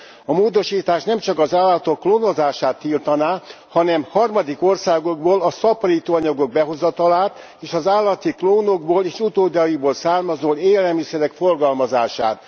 A módosítás nemcsak az állatok klónozását tiltaná, hanem harmadik országokból a szaporítóanyagok behozatalát és az állati klónokból és utódaikból származó élelmiszerek forgalmazását.